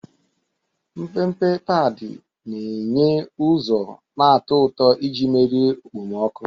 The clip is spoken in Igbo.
Mpempe padi na-enye ụzọ na-atọ ụtọ iji merie okpomọkụ.